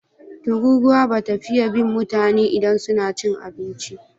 Tururuwa ba ta fiye bin mutane idan suna cin abinci.